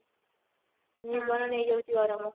ଜୀବନ ନେଇଯାଉଛି ଗରମ